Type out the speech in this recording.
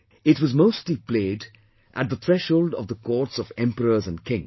It was mostly played at the threshold of the courts of emperors and kings